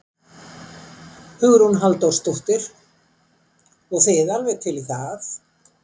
Hugrún Halldórsdóttir: Og þið alveg til í það?